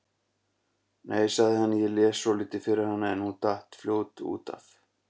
Nei, sagði hann, ég las svolítið fyrir hana en hún datt fljótt út af.